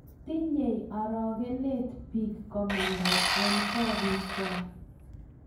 tinyei orokinet biik komandai eng' koriikwak